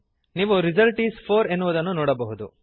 ನೀವು result is 4 ಎನ್ನುವುದನ್ನು ನೋಡಬಹುದು